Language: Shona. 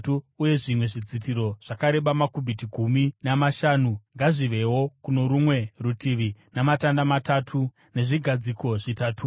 uye zvimwe zvidzitiro zvakareba makubhiti gumi namashanu ngazvivewo kuno rumwe rutivi, namatanda matatu nezvigadziko zvitatuwo.